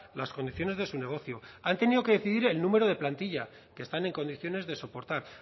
las condiciones de su negocio han tenido que decidir el número de plantilla que están en condiciones de soportar